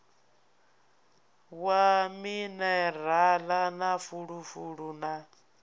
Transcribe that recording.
wa minirala na fulufulu na